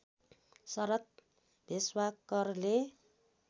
शरद भेष्वाकरले